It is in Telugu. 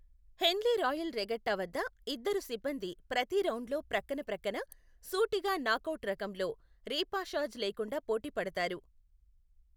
హెన్లీ రాయల్ రెగట్టా వద్ద, ఇద్దరు సిబ్బంది ప్రతి రౌండ్లో ప్రక్కన ప్రక్కన, సూటిగా నాక్ అవుట్ రకంలో, రేపాషాజ్ లేకుండా పోటీ పడతారు,